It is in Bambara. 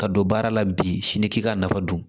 Ka don baara la bi sini k'i k'a nafa don